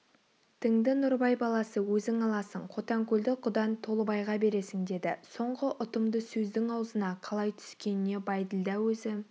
діңді нұрыбай баласы өзің аласың қотанкөлді құдаң толыбайға бересің деді соңғы ұтымды сөздің аузына қалай түскеніне бәйділда өзі